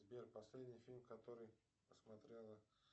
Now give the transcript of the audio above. сбер последний фильм который посмотрела